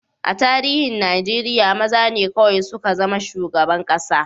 A tarihin Najeriya, maza ne kawai suka zama shugaban kasa.